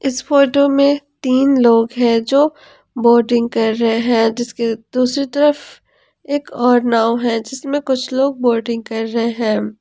इस फोटो में तीन लोग हैं जो बोटिंग कर रहे हैं इसके दूसरी तरफ एक और नाव है जिसमें कुछ लोग बोटिंग कर रहे हैं।